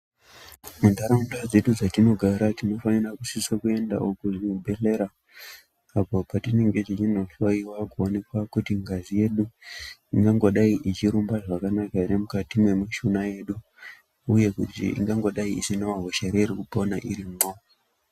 Muntaraunda dzedu dzetinogara, tinofanira kusise kuendawo kuzvibhedhlera, apo patinenge tichinohloiwa kuonekwa kuti ngazi yedu, inongodai ichirumba zvakanaka ere mukati mwemushuna yedu, uye kuti ingangodai isinawo hosha ere iri kupona irimwo.